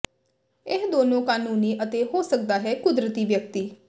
ਇਹ ਦੋਨੋ ਕਾਨੂੰਨੀ ਅਤੇ ਹੋ ਸਕਦਾ ਹੈ ਕੁਦਰਤੀ ਵਿਅਕਤੀ